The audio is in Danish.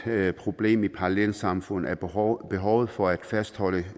problem i parallelsamfund er behovet behovet for at fastholde